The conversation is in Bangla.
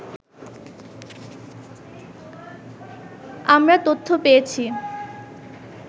আমরা তথ্য পেয়েছি